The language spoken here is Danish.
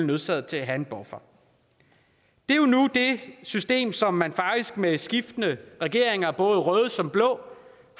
nødsaget til at have en buffer det er jo nu det system som man faktisk med skiftende regeringer røde som blå